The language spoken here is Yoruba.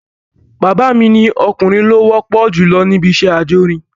Bàbá mi ni ọkùnrin ló wọ́pọ̀ jùlọ níbi iṣẹ́ ajórin